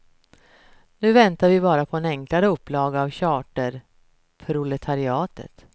Nu väntar vi bara på en enklare upplaga för charterproletariatet.